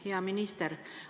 Hea minister!